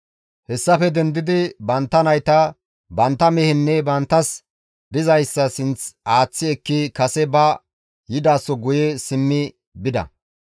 Hessafe dendidi bantta nayta, bantta mehenne banttas dizayssa sinth aaththi ekki kase ba yidaso guye simmi bida.